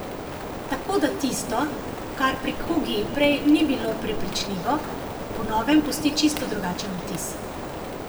Tako da tisto, kar pri kugi prej ni bilo prepričljivo, po novem pusti čisto drugačen vtis.